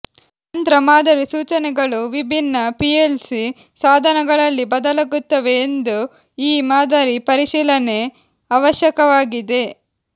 ಯಂತ್ರ ಮಾದರಿ ಸೂಚನೆಗಳು ವಿಭಿನ್ನ ಪಿಎಲ್ಸಿ ಸಾಧನಗಳಲ್ಲಿ ಬದಲಾಗುತ್ತವೆ ಎಂದು ಈ ಮಾದರಿ ಪರಿಶೀಲನೆ ಅವಶ್ಯಕವಾಗಿದೆ